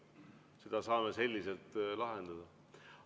Seda saame selliselt lahendada.